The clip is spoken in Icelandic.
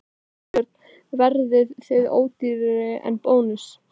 Þorbjörn: Verðið þið ódýrari en Bónus?